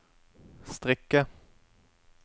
strikke